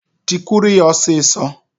Tikwuru ya ọsịsọ!